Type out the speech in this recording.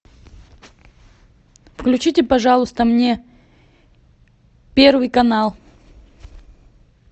включите пожалуйста мне первый канал